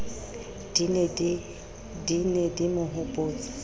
di ne di mo hopotsa